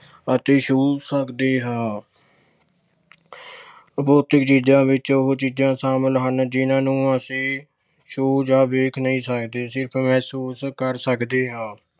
ਅਤੇ ਛੂ ਸਕਦੇ ਹਾਂ ਅਤੇ ਅਭੌਤਿਕ ਚੀਜਾਂ ਵਿੱਚ ਉਹ ਚੀਜਾਂ ਸ਼ਾਮਲ ਹਨ ਜਿਹਨਾਂ ਨੂੰ ਅਸੀਂ ਛੂ ਜਾਂ ਵੇਖ ਨਹੀਂ ਸਕਦੇ। ਸਿਰਫ ਮਹਿਸੂਸ ਕਰ ਸਕਦੇ ਹਾਂ।